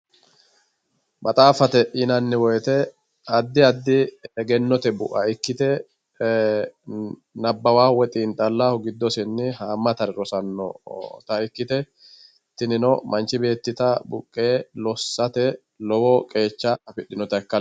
maxaaffate yinanni woyiite addi addi egennote bu'a ikkite nabbawawoohu woy xiinxallawoohu giddosenni haammatare rosannota ikkite tinino manchi beettita buqqee lossate lowo qeecha afidhinota ikka.